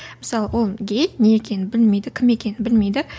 мысалы ол гей не екенін білмейді кім екенін білмейді